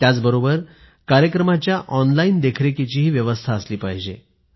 त्याचबरोबर कार्यक्रमाच्या ऑनलाईन देखरेखीचीही व्यवस्था असली पाहिजे